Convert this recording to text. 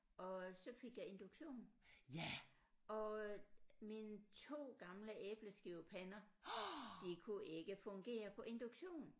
Og så fik jeg induktion og øh mine 2 gamle æbleskivepander de kunne ikke fungere på induktion